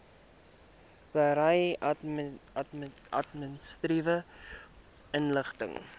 berei administratiewe inligting